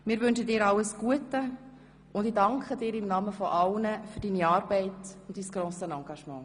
Wir wünschen dir alles Gute, und ich danke dir im Namen aller für deine Arbeit und dein grosses Engagement.